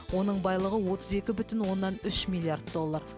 оның байлығы отыз екі бүтін оннан үш миллиард доллар